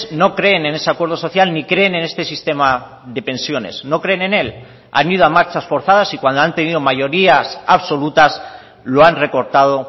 no creen en ese acuerdo social ni creen en este sistema de pensiones no creen en él han ido a marchas forzadas y cuando han tenido mayorías absolutas lo han recortado